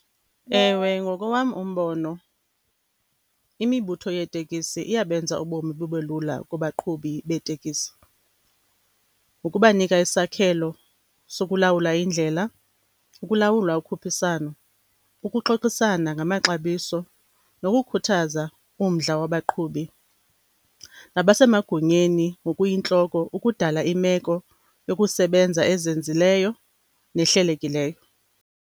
Ewe ngokowam umbono imibutho yeeteksi iyabenza ubomi bube lula kubaqhubi beteksi. Ngokubanika isakhelo sokulawula indlela, ukulawula ukhuphiswano, ukuxoxisana ngamaxabiso nokukhuthaza umdla wabaqhubi nabasemagunyeni ngokuyintloko ukudala imeko yokusebenza ezinzileyo nehlelekileyo.